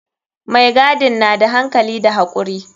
Mai gadin na da hankali da hakuri.